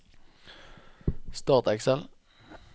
Start Excel